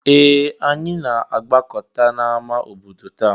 Ee! Anyị na-agbakọta n'ámá obodo taa.